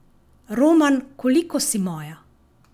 Roman Koliko si moja?